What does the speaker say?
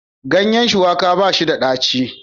Ganyen shuwaka ba shi da daɗi